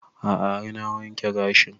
A'a har na wanke gashin